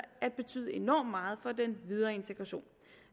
at betyde enormt meget for den videre integration